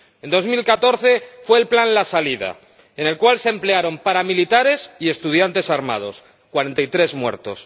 En el año 2014 fue el plan la Salida, en el cual se emplearon paramilitares y estudiantes armados 43 muertos.